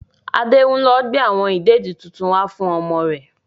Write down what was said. Adé ń lọ gbe awon ìdèdi tuntun wá fún ọmọ rẹ.